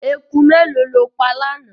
Eku mélòó ló pa lánàá.